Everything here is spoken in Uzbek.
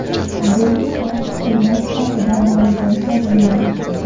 Biz esa qiyma sifatida mayizdan foydalandik.